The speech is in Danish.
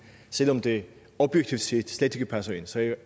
selv om det objektivt set slet ikke passer ind så jeg